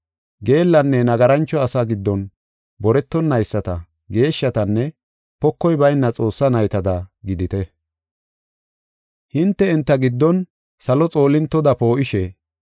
Geellanne nagarancho asaa giddon boretonayisata, geeshshatanne pokoy bayna Xoossaa naytada gidite. Hinte enta giddon salo xoolintoda poo7ishe,